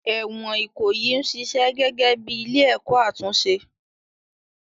Ẹ̀wọ̀n Ikoyi ń ṣiṣẹ́ gẹ́gẹ́ bí ilé-ẹ̀kọ́ àtúnṣe